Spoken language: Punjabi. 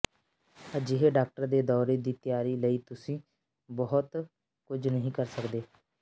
ਅਜਿਹੇ ਡਾਕਟਰ ਦੇ ਦੌਰੇ ਦੀ ਤਿਆਰੀ ਲਈ ਤੁਸੀਂ ਬਹੁਤ ਕੁਝ ਨਹੀਂ ਕਰ ਸਕਦੇ